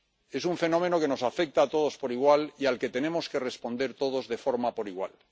Es un fenómeno que nos afecta a todos por igual y al que tenemos que responder todos por igual.